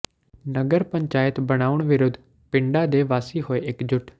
ਨਗਰ ਪੰਚਾਇਤ ਬਣਾਉਣ ਵਿਰੁੱਧ ਪਿੰਡਾਂ ਦੇ ਵਾਸੀ ਹੋਏ ਇਕਜੁੱਟ